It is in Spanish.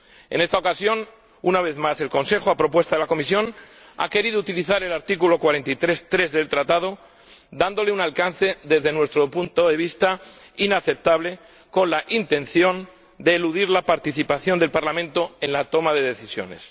En esta ocasión, una vez más, el Consejo, a propuesta de la Comisión, ha querido utilizar el artículo 43, apartado 3, del Tratado, dándole un alcance, desde nuestro punto de vista, inaceptable, con la intención de eludir la participación del Parlamento en la toma de decisiones.